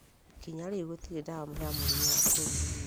nginya rĩu, gũtirĩ ndawa ya mũrimũ wa kũriganĩrwo